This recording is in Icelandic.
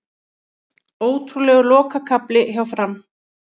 Ótrúlegur lokakafli hjá Fram